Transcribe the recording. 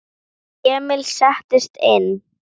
Emil settist inn.